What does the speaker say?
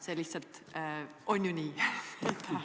See lihtsalt on ju nii!